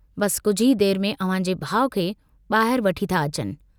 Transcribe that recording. बस कुझ ई देर में अव्हांजे भाउ खे बाहिर वठी था अचनि।